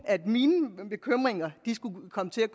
mine bekymringer skulle komme til at